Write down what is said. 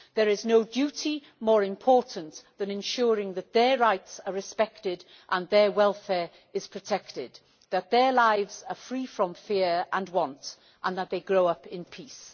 There is no duty more important than ensuring that their rights are respected, that their welfare is protected, that their lives are free from fear and want and that they grow up in peace.'